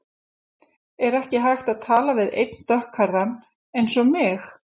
Er ekki hægt að tala við einn dökkhærðan eins og mig?